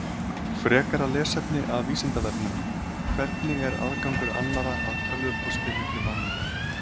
Frekara lesefni af Vísindavefnum: Hvernig er aðgangur annarra að tölvupósti milli manna?